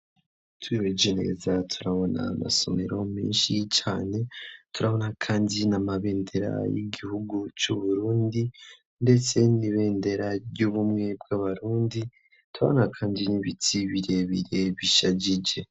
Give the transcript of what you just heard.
Twihweje neza turabona amasomero menshi cane turabona kandi n'amabendera y'igihugu c'uburundi ndetse nibendera ry'ubumwe bw'abarundi turabona kandi n'ibitsi birebire bishajije.